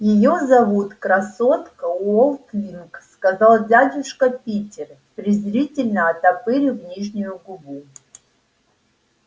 её зовут красотка уотлинг сказал дядюшка питер презрительно оттопырив нижнюю губу